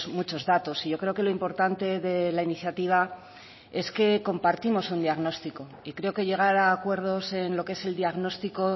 muchos datos y yo creo que lo importante de la iniciativa es que compartimos un diagnóstico y creo que llegar a acuerdos en lo que es el diagnóstico